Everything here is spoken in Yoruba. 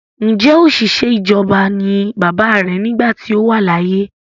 Ǹjẹ́ ọ̀sìṣẹ́ ìjọba ni bàbáà rẹ nígbà tí ó wà láyé?